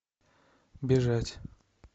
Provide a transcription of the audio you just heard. бежать